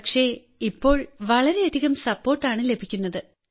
പക്ഷെ ഇപ്പോൾ വളരെയധികം സപ്പോർട്ട് ആണ് ലഭിക്കുന്നത്